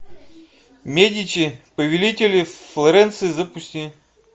медичи повелители флоренции запусти